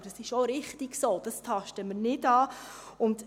Das ist auch richtig so, das tasten wir nicht an.